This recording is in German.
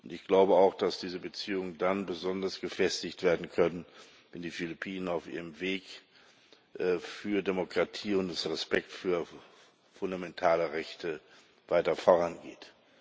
Ich glaube auch, dass diese Beziehungen dann besonders gefestigt werden können, wenn die Philippinen auf ihrem Weg für Demokratie und den Respekt für fundamentale Rechte weiter vorangehen.